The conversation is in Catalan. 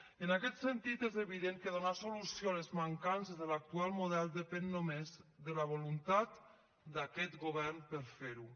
i en aquest sentit és evident que donar solució a les mancances de l’actual model depèn només de la voluntat d’aquest govern per a fer ho